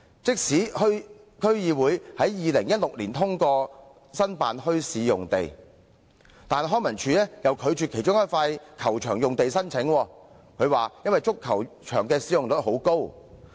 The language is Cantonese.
即使有關區議會在2016年支持申請墟市用地，但康文署又以足球場使用率高為由，拒絕使用其中一幅球場用地的申請。